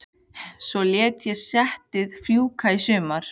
Svo lét ég settið fjúka í sumar.